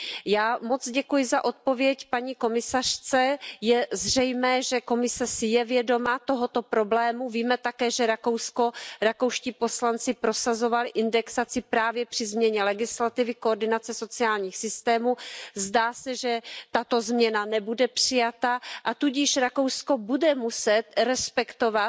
Já moc děkuji za odpověď paní komisařce, je zřejmé, že Komise si je vědoma tohoto problému, víme také, že Rakousko, rakouští poslanci prosazovali indexaci právě při změně legislativy ohledně koordinace sociálních systémů, zdá se, že tato změna nebude přijata, a tudíž Rakousko bude muset respektovat